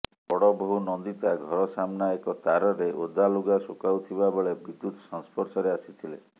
ବଡ଼ବୋହୂ ନନ୍ଦିତା ଘର ସାମ୍ନା ଏକ ତାରରେ ଓଦାଲଗା ଶୁଖାଉଥିବା ବେଳେ ବିଦ୍ୟୁତ ସଂସ୍ପର୍ଶରେ ଆସିଥିଲେ